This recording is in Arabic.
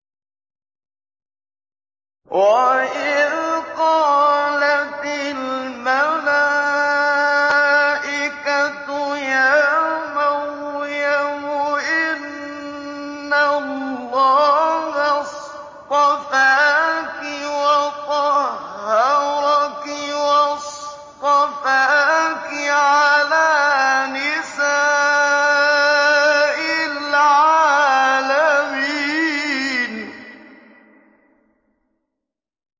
وَإِذْ قَالَتِ الْمَلَائِكَةُ يَا مَرْيَمُ إِنَّ اللَّهَ اصْطَفَاكِ وَطَهَّرَكِ وَاصْطَفَاكِ عَلَىٰ نِسَاءِ الْعَالَمِينَ